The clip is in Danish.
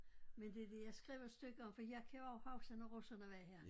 Men det det jeg skrev et stykke om for jeg kan jo huske når russerne var her